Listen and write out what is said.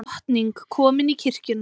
Drottning komin í kirkjuna